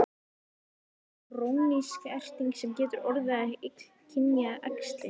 Verður þá krónísk erting sem getur orðið að illkynja æxli.